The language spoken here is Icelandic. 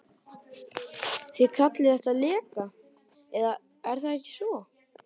Þið kallið þetta leka, eða er það ekki svo.